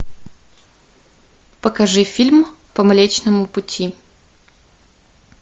покажи фильм по млечному пути